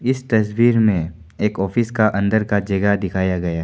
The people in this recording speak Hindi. इस तस्वीर में एक ऑफिस का अंदर का जगह दिखाया गया है।